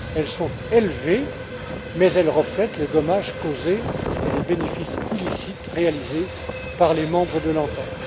Elles sont élevées mais elles reflètent les dommages causés et les bénéfices illicites réalisés par les membres de l'entente.